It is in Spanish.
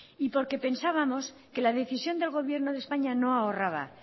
y porque pensábamos que la decisión del gobierno de españa no ahorra